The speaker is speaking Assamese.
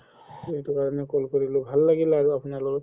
ত সেইটো কাৰণে call কৰিলো ভাল লাগিল আৰু আপুনাৰ লগত